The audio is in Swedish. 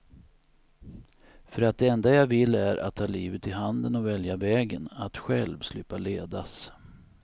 För att det enda jag vill är att ta livet i handen och välja vägen, att själv slippa ledas.